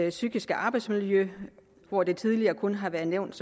og psykiske arbejdsmiljø hvor det tidligere kun har været nævnt